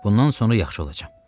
Bundan sonra yaxşı olacam.